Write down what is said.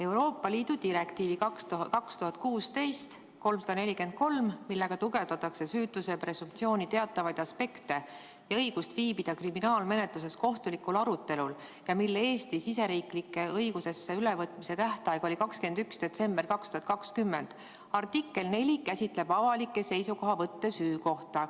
Euroopa Liidu direktiivi 2016/343, millega tugevdatakse süütuse presumptsiooni teatavaid aspekte ja õigust viibida kriminaalmenetluses kohtulikul arutelul ning mille Eesti õigusesse ülevõtmise tähtaeg oli 21. detsember 2020, artikkel 4 käsitleb avalikke seisukohavõtte süü kohta.